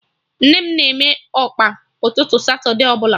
Nne m na-eme Ọkpa ụtụtụ satude ọbụla